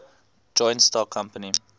joint stock company